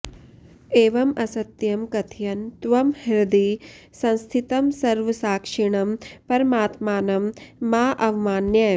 एवम् असत्यं कथयन् त्वं हृदि संस्थितं सर्वसाक्षिणं परमात्मानं मा अवमानय